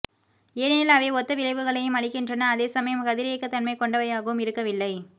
ஏனெனில் அவை ஒத்த விளைவுகளையும் அளிக்கின்றன அதேசமயம் கதிரியக்கத்தன்மை கொண்டவையாகவும் இருக்கவில்லை